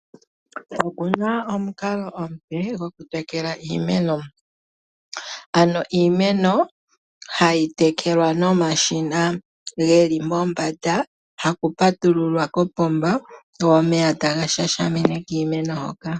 Okuna omunkalo omupe goku tekela iimeno , ano iimeno hayi tekelwa nomashina geli mombanda haku patululwa kopomba go omeya taga shashimine kiimeno hoka.